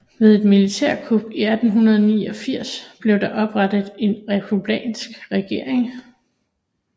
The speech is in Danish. Ved et militærkup i 1889 blev der oprettet en republikansk regering